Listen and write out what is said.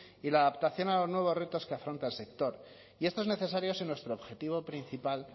y la adaptación a los nuevos retos que afronta el sector y esto es necesario si nuestro objetivo principal